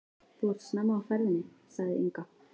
Þú ert snemma á ferðinni, sagði Inga.